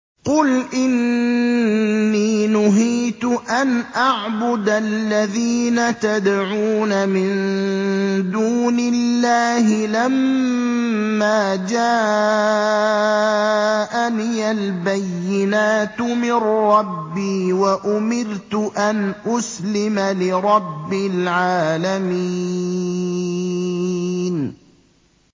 ۞ قُلْ إِنِّي نُهِيتُ أَنْ أَعْبُدَ الَّذِينَ تَدْعُونَ مِن دُونِ اللَّهِ لَمَّا جَاءَنِيَ الْبَيِّنَاتُ مِن رَّبِّي وَأُمِرْتُ أَنْ أُسْلِمَ لِرَبِّ الْعَالَمِينَ